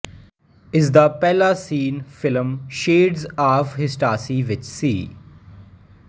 ਇਸਦਾ ਪਹਿਲਾ scene film Shades of Ecstasy ਵਿੱਚ ਸੀ